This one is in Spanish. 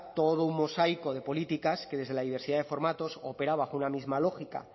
todo un mosaico de políticas que desde la diversidad de formatos opera bajo una misma lógica